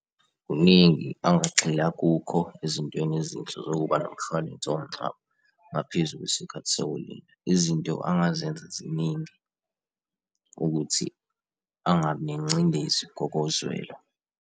Kuningi angagxila kukho ezintweni ezinhle zokuba nomshwalensi womngcwabo ngaphezu kwesikhathi sokulinda. Izinto angazenza ziningi ukuthi angabi nengcindezi ngokozwelo.